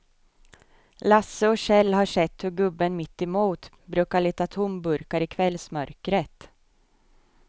Lasse och Kjell har sett hur gubben mittemot brukar leta tomburkar i kvällsmörkret.